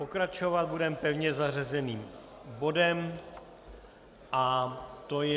Pokračovat budeme pevně zařazeným bodem a to je